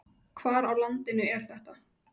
Hvar á landinu er þetta?